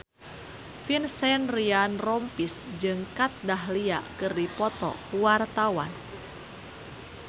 Vincent Ryan Rompies jeung Kat Dahlia keur dipoto ku wartawan